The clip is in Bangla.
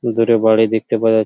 দূরে বাড়ি দেখতে পাওয়া--